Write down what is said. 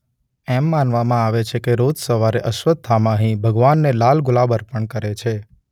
એમ માનવામાં આવે છે કે રોજ સવારે અશ્વત્થામા અહીં ભગવાનને લાલ ગુલાબ અર્પણ કરે છે.